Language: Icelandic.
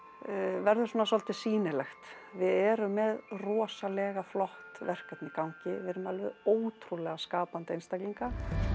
verður svona svolítið sýnilegt við erum með rosalega flott verkefni í gangi við erum með alveg ótrúlega skapandi einstaklinga